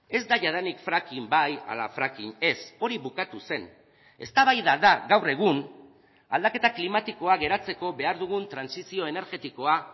ez da jadanik fracking bai ala fracking ez hori bukatu zen eztabaida da gaur egun aldaketa klimatikoa geratzeko behar dugun trantsizio energetikoa